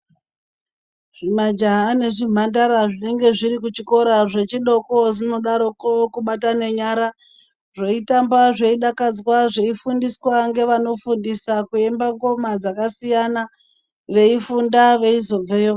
Zvimajaha nezvimhandara zvinenge zviri kuchikora zvechidoko zvinodaroko kubatane nyara, zveyitamba zveidakadzwa zveifundiswa ngevanofundisa kuemba ngoma dzakasiyana veifunda veizobveyo.